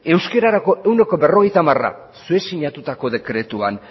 euskerarako ehuneko berrogeita hamara zuek sinatutako dekretuan